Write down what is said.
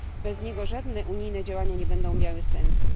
Bez niego żadne unijne działania nie będą miały sensu.